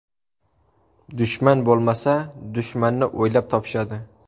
Dushman bo‘lmasa, dushmanni o‘ylab topishadi.